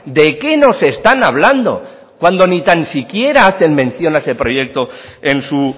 de qué nos están hablando cuando ni tan siquiera hacen mención a ese proyecto en su